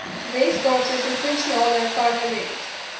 weskaapse provinsiale parlement